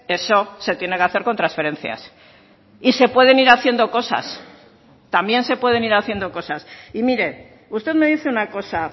eso se tiene que hacer con transferencias y se pueden ir haciendo cosas también se pueden ir haciendo cosas y mire usted me dice una cosa